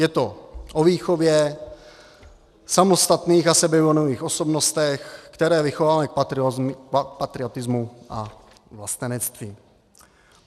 Je to o výchově, samostatných a sebevědomých osobnostech, které vychováváme k patriotismu a vlastenectví.